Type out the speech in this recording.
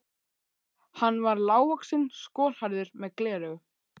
Hann var lágvaxinn, skolhærður, með gleraugu.